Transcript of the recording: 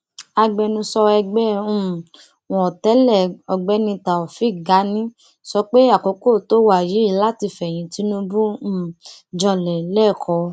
agbẹnusọ ẹgbẹ um wọn tẹlé ọgbẹni taofik gani sọ pé àkókò tó wàyí láti fẹyìn tinubu um janlẹ lẹkọọ